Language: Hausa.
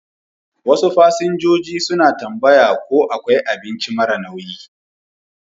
Wasu fasinjoji suna tambaya ko akwai abinci mara nauyi.